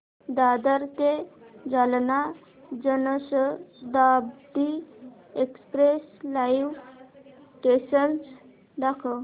दादर ते Jalna Janshatabdi express live status दाखव